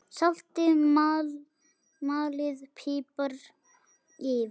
Saltið og malið pipar yfir.